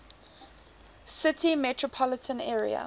city metropolitan area